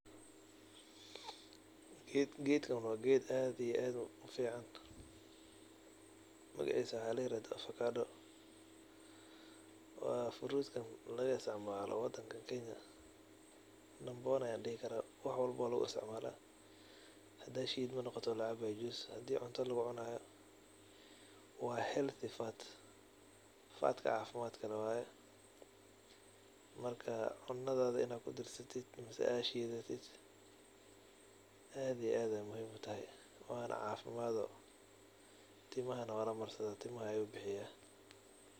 Gedkan wa geed aa uu fican magacisa waxa ladaha afakado wa furut lagaisticmalo wadanka kenya number one ayan dihi kara wax walbo ayab loisitcmala hadey shidmo noqoto lacabayo hadey cunta lugucunayo wa healthy fats oo cafimad leeh waye marka cunada in kudarsati ama ad shidatid aad ayu uficna yahay timaha walamariya tintu bixini.